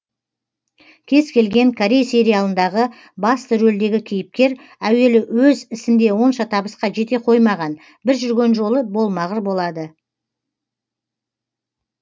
кез келген корей сериалындағы басты рөлдегі кейіпкер әуелі өз ісінде онша табысқа жете қоймаған бір жүрген жолы болмағыр болады